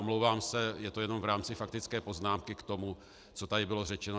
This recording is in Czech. Omlouvám se, je to jenom v rámci faktické poznámky k tomu, co tady bylo řečeno.